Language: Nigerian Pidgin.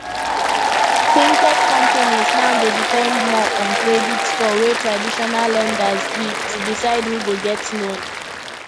fintech companies now dey depend more on credit score wey traditional lenders give to decide who go get loan